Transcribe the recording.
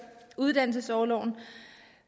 uddannelsesorloven